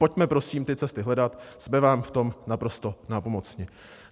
Pojďme prosím ty cesty hledat, budeme vám v tom naprosto nápomocní.